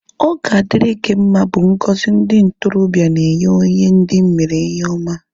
Ọ ga adịrị gị mma bụ ngọzi ndị ntorobịa na-enye onye ndị mere ihe oma